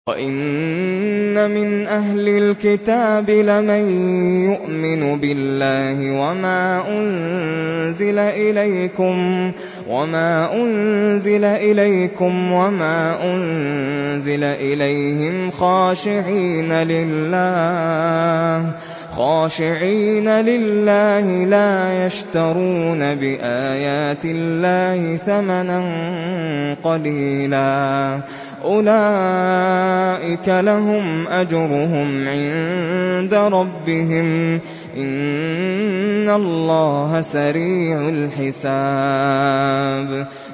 وَإِنَّ مِنْ أَهْلِ الْكِتَابِ لَمَن يُؤْمِنُ بِاللَّهِ وَمَا أُنزِلَ إِلَيْكُمْ وَمَا أُنزِلَ إِلَيْهِمْ خَاشِعِينَ لِلَّهِ لَا يَشْتَرُونَ بِآيَاتِ اللَّهِ ثَمَنًا قَلِيلًا ۗ أُولَٰئِكَ لَهُمْ أَجْرُهُمْ عِندَ رَبِّهِمْ ۗ إِنَّ اللَّهَ سَرِيعُ الْحِسَابِ